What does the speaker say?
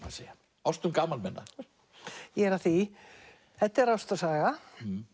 að segja ástum gamalmenna ég er að því þetta er ástarsaga